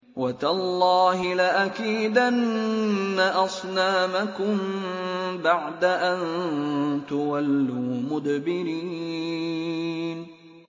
وَتَاللَّهِ لَأَكِيدَنَّ أَصْنَامَكُم بَعْدَ أَن تُوَلُّوا مُدْبِرِينَ